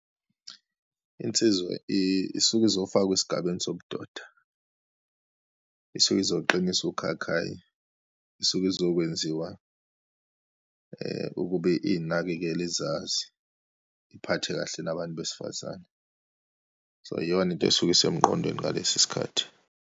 Insizwa isuke izofakwa esigabeni sobudoda, isuke izoqiniswa ukhakhayi, isuke izokwenziwa ukuba iyinakekele, izazi, iphathe kahle nabantu besifazane. So, iyona into esuke isemqondweni ngalesi sikhathi.